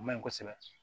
O maɲi kɔsɛbɛ